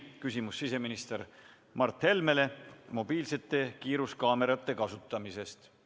Küsimus on siseminister Mart Helmele mobiilsete kiiruskaamerate kasutamise kohta.